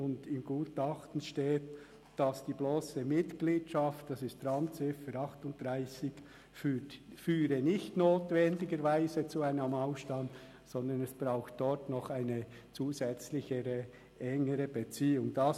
Im Gutachten steht gemäss Randziffer 38, dass die blosse Mitgliedschaft nicht notwendigerweise zu einem Ausstand führt, sondern dass es noch eine zusätzliche, engere Beziehung braucht.